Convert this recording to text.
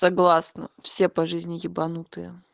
согласна все по жизни ебанутые